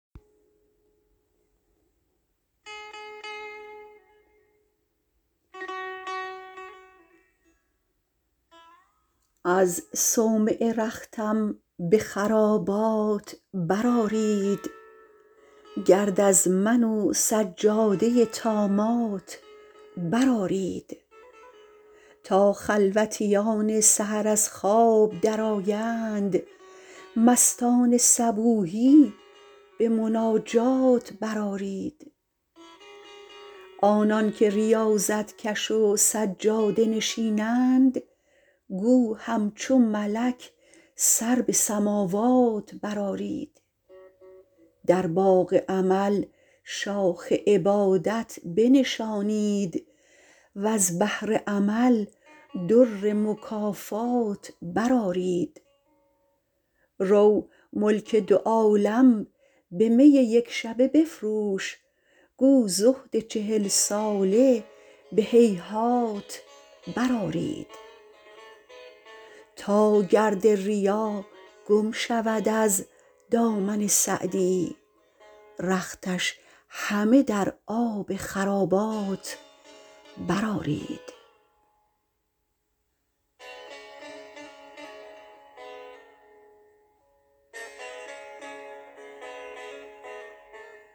از صومعه رختم به خرابات برآرید گرد از من و سجاده طامات برآرید تا خلوتیان سحر از خواب درآیند مستان صبوحی به مناجات برآرید آنان که ریاضت کش و سجاده نشینند گو همچو ملک سر به سماوات برآرید در باغ امل شاخ عبادت بنشانید وز بحر عمل در مکافات برآرید رو ملک دو عالم به می یکشبه بفروش گو زهد چهل ساله به هیهات برآرید تا گرد ریا گم شود از دامن سعدی رختش همه در آب خرابات برآرید